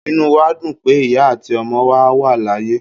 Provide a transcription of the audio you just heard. Inú wa dún pe iya atí ọmọ wa layé